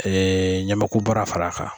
ɲɛmɛku baara fara kan